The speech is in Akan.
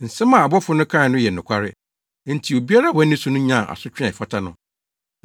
Nsɛm a abɔfo no kae no yɛ nokware, enti obiara a wanni so no nyaa asotwe a ɛfata no.